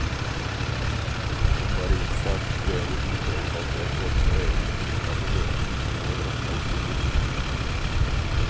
Vi må bare innse at det å dokumentere kvalitet både på egne kunnskaper og løsninger kommer våre oppdragsgivere til gode.